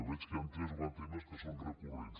veig que hi han tres o quatre temes que són recurrents